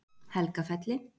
Helgafelli